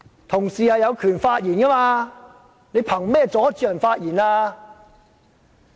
同事有權發言，你憑甚麼阻礙他們？